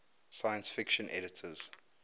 science fiction editors